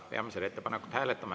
Peame seda ettepanekut hääletama.